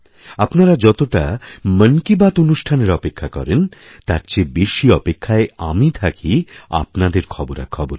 আপনারা যতটা মন কি বাত অনুষ্ঠানেরঅপেক্ষা করেন তার চেয়ে বেশি অপেক্ষায় আমি থাকি আপনাদের খবরাখবরের